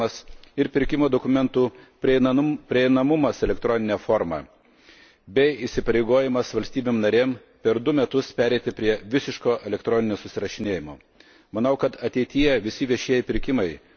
Pasiūlyme jau numatomas privalomas pranešimų perdavimas ir pirkimo dokumentų prieinamumas elektronine forma bei įsipareigojimas valstybėms narėms per dvejus metus pereiti prie visiško elektroninio susirašinėjimo.